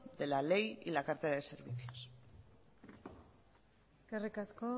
de la ley y la cartera de servicios eskerrik asko